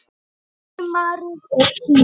Sumarið er tíminn.